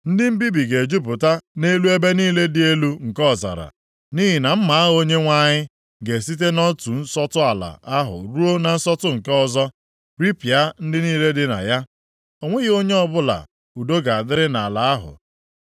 Ndị mbibi ga-ejupụta nʼelu ebe niile dị elu nke ọzara, nʼihi na mma agha Onyenwe anyị ga-esite nʼotu nsọtụ ala ahụ ruo na nsọtụ nke ọzọ, ripịa ndị niile dị na ya. O nweghị onye ọbụla udo ga-adịrị nʼala ahụ.